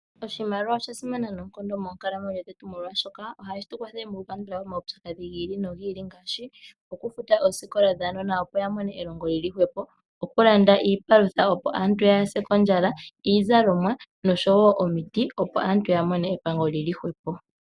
Oshimaliwa oshasimana noonkondo moonkalamwenyo dhetu molwaashoka ohashi tulwathele moku kandulapo omaudhigu gi ili nogi ili ngaashi okufuta oosikola dhuunona opo wumone elongo lili hwepo ,okulanda iipalutha opo aantu kayase kondjala ,iizalomwa oshowo omuti opo aantu yamone epango lili hwepo